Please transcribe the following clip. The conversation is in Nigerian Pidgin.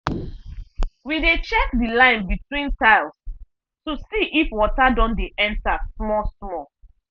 we dey check the line between tiles to see if water don dey enter small-small.